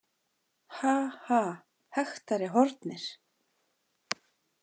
Ha- ha- hektari Horfnir.